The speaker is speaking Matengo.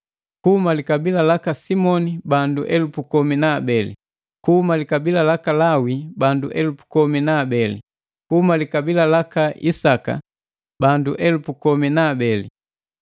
kuhuma likabila laka Simoni bandu elupu komi na abeli kuhuma likabila laka Lawi bandu elupu komi na abeli, kuhuma likabila laka Isaka, bandu elupu komi na abeli;